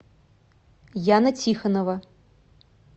яна тихонова